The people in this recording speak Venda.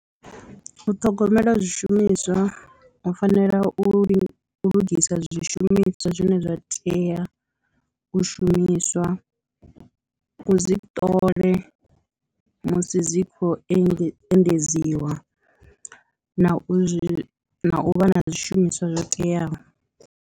U ṱhogomela zwishumiswa u fanela u lugisa zwishumiswa zwine zwa tea u shumiswa u zwi ṱole musi dzi khou engedza endedziwa na u zwi u vha na zwishumiswa zwo teaho.